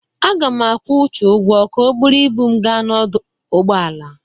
Aga m akwụ Uche ụgwọ ka o buru ibu m gaa ọdụ ụgbọala.